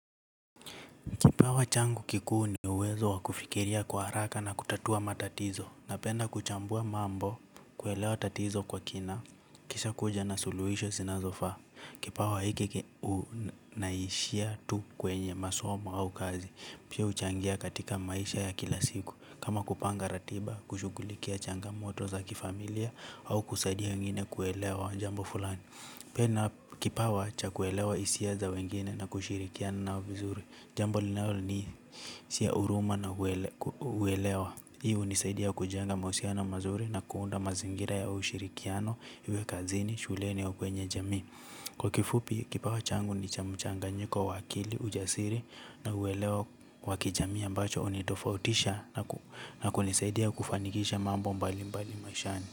Kipawa changu kikuu ni uwezo wa kufikiria kwa haraka na kutatua matatizo. Napenda kuchambua mambo kuelewa tatizo kwa kina. Kisha kuja na suluhisho zinazofaa. Kipawa hiki hunaishia tu kwenye masomo au kazi. Pia huchangia katika maisha ya kila siku. Kama kupanga ratiba, kushughulikia changamoto za kifamilia. Au kusaidia wengine kuelewa jambo fulani. Pia na kipawa cha kuelewa hisia za wengine na kushirikiana nao vizuri. Jambo linalo ni siya huruma na kuelewa. Hii hunisaidia kujenga mahusiano mazuri na kuunda mazingira ya ushirikiano. Iwe kazini, shuleni au kwenye jamii. Kwa kifupi, kipawa changu ni cha mchanganyiko wa akili, ujasiri na uwelewa wa kijamii ambacho hunitofautisha na kunisaidia kufanikisha mambo mbalimbali maishani.